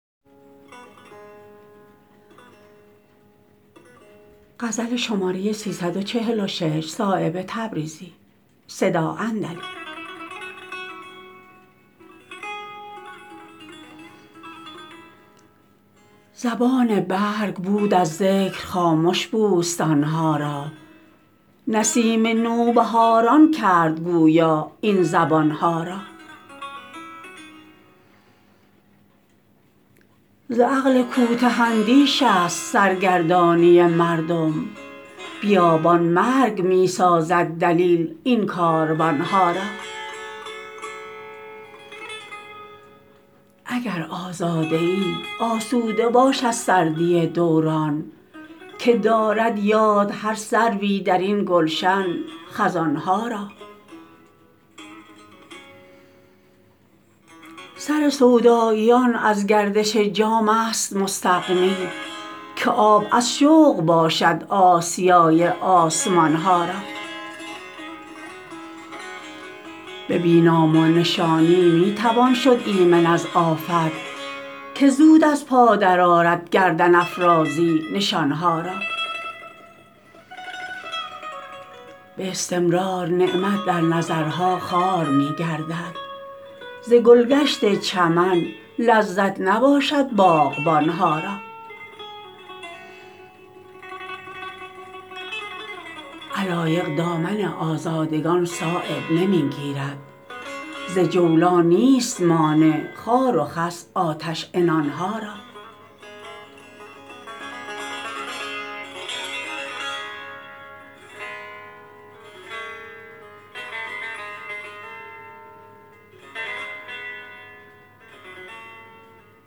زبان برگ بود از ذکر خامش بوستان ها را نسیم نوبهاران کرد گویا این زبان ها را ز عقل کوته اندیش است سرگردانی مردم بیابان مرگ می سازد دلیل این کاروان ها را اگر آزاده ای آسوده باش از سردی دوران که دارد یاد هر سروی درین گلشن خزان ها را سر سوداییان از گردش جام است مستغنی که آب از شوق باشد آسیای آسمان ها را به بی نام و نشانی می توان شد ایمن از آفت که زود از پا درآرد گردن افرازی نشان ها را به استمرار نعمت در نظرها خوار می گردد ز گلگشت چمن لذت نباشد باغبان ها را علایق دامن آزادگان صایب نمی گیرد ز جولان نیست مانع خار و خس آتش عنان ها را